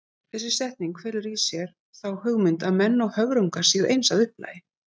Þessi setning felur í sér þá hugmynd að menn og höfrungar séu eins að upplagi.